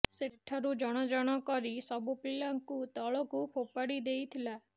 ସେଠାରୁ ଜଣ ଜଣ କରି ସବୁ ପିଲାଙ୍କୁ ତଳକୁ ଫୋପାଡ଼ି ଦେଇଥିଲା